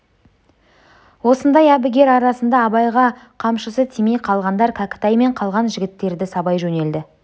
осындай әбігер арасында абайға қамшысы тимей қалғандар кәкітай мен қалған жігіттерді сабай жөнелді